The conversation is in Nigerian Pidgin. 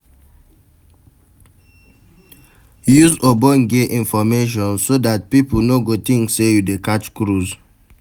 Use ogbonge information so dat pipo no go think sey you dey catch cruise